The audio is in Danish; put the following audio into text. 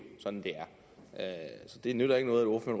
sådan det er så det nytter ikke noget at